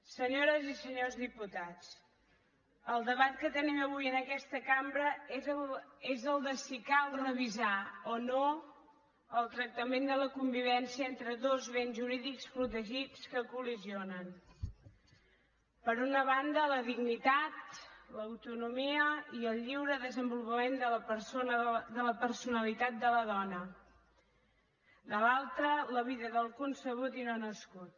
senyores i senyors diputats el debat que tenim avui en aquesta cambra és el de si cal revisar o no el tractament de la convivència entre dos béns jurídics protegits que coltonomia i el lliure desenvolupament de la personalitat de la dona de l’altra la vida del concebut i no nascut